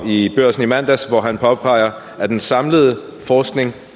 i børsen i mandags her påpeger han at den samlede forskning